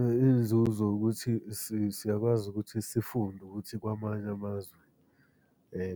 Iy'nzuzo ukuthi siyakwazi ukuthi sifunde ukuthi kwamanye amazwe